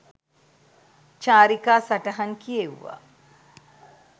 චාරිකා සටහන් කියෙව්වා